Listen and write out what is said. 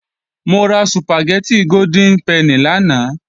Mo ra Sùpàgẹ́tì Golden Penny lánàá